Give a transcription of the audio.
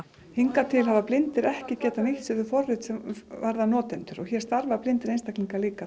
hingað til hafa blindir ekki getað nýtt sér þau forrit sem varða notendur og hér starfa blindir einstaklingar líka